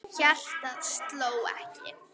Hjartað sló ekki.